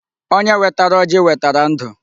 Onye wetara ọjị wetara ndụ.